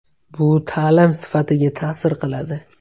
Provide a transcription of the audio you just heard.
Bu ta’lim sifatiga ta’sir qiladi.